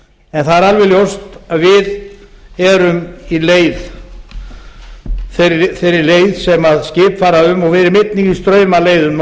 en það er alveg ljóst að við erum í þeirri leið sem skip fara um og við erum einnig í straumaleiðum norður úr